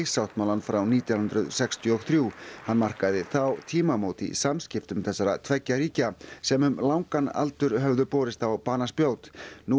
sáttmálann frá nítján hundruð sextíu og þrjú hann markaði þá tímamót í samskiptum þessara tveggja ríkja sem um langan aldur höfðu borist á banaspjót nú